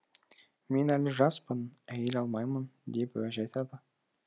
мен әлі жаспын әйел алмаймын деп уәж айтады